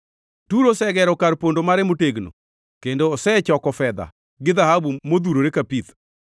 Turo osegero kar pondo mare motegno; kendo osechoko fedha, gi dhahabu modhurore ka pith.